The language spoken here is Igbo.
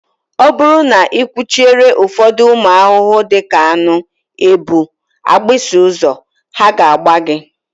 Ọ bụrụ na ị kwụchiere ụfọdụ ụmụ ahụhụ dị ka aṅụ, ebu, agbịsị ụzọ, ha na-agba gị